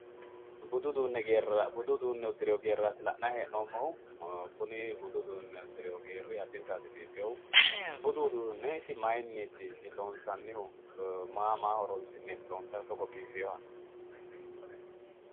Budu uduunne uddirewo geerati le'nayi heenoomohu. kuni budu uduune uddirewo geeri addintayiti biifinohu. Budu uduunne isi mayiiniti loonsayihu maa maa horonsi'neti loonsayihu togo biifewoha